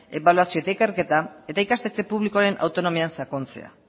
ebaluazioa eta ikerketa eta ikastetxe publikoren autonomian sakontzea